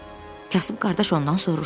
Kasıb qardaş ondan soruşdu.